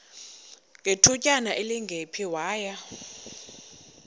ngethutyana elingephi waya